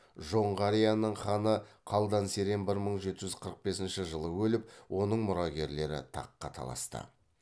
жоңғарияның ханы қалдан серен бір мың жеті жүз қырық бесінші жылы өліп оның мұрагерлері таққа таласты